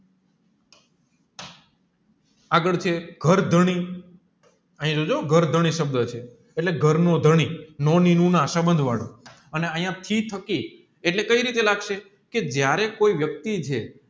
આગળ છે ઘર ધણી અહીંયા જોજો હોં ઘરધણી સબંધ છે એટલે ઘરનો ધની નોની નુના સબંધ વડું એને અહીંયા એટલે કયી રીતે લાગશે જયારે કોઈ વ્યક્તિ છે